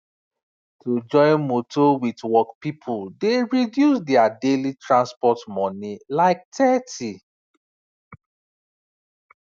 to join motor wit work people dey reduce their daily transport money like 30